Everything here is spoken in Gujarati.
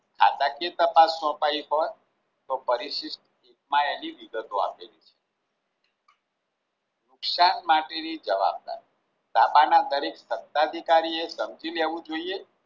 ખાતાકીય તાપસ સોંપાઈ હોય તો પરિશિષ્ટ માં એવી વિગતો આપે છે. નુકસાન માટે ની જવાબદાર બાપાના દરેક સત્તા અધિકારીએ સમજી લેવું જોઈએ